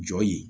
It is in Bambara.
Jɔ ye